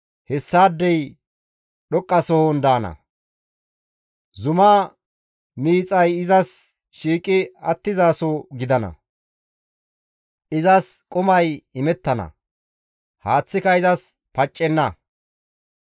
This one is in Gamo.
Hessaadey dhoqqasohon daana; zuma miixay izas shiiqi attizaso gidana; izas qumay imettana; haaththika izas paccenna.